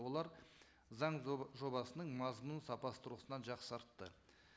олар заң жобасының мазмұнын сапасы тұрғысынан жақсартты